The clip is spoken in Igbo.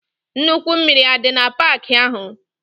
Nnukwu mmiri adi na park ahu?